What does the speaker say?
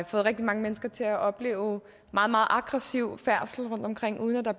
fået rigtig mange mennesker til at opleve meget meget aggressiv færdsel rundtomkring uden at der